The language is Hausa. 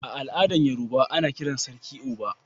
A al'adan Yorubawa, ana kiran sarkin"Oba."